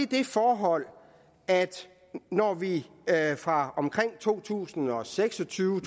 det forhold at når vi fra omkring to tusind og seks og tyve